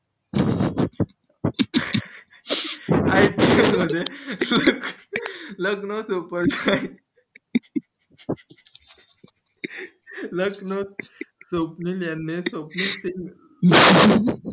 ipl मध्ये luck लाव तू पण लखनौ यांनी स्वप्नील सिघ